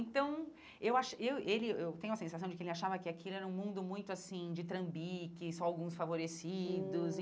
Então, eu acho eu ele eu eu tenho a sensação de que ele achava que aquilo era um mundo muito assim de trambiques, só alguns favorecidos. Hum